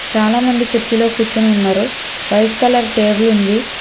చాలామంది కుర్చీలో కూర్చుని ఉన్నారు వైట్ కలర్ టేబుల్ ఉంది.